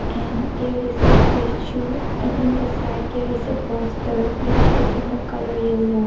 and there is a statue and in the site there is a poster which is in the colour yellow.